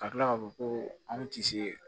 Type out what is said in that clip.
Ka kila k'a fɔ ko anw ti se